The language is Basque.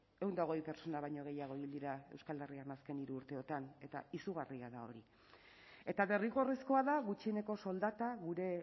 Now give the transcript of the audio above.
ehun eta hogei pertsona baino gehiago hil dira euskal herrian azken hiru urteotan eta izugarria da hori eta derrigorrezkoa da gutxieneko soldata gure